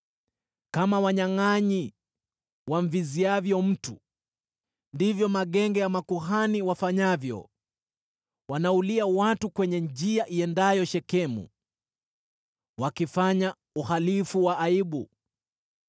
Kama wanyangʼanyi wamviziavyo mtu, ndivyo magenge ya makuhani wafanyavyo; wanaulia watu kwenye njia iendayo Shekemu, wakifanya uhalifu wa aibu.